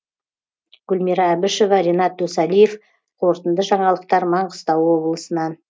гүлмира әбішева ренат досалиев қорытынды жаңалықтар маңғыстау облысынан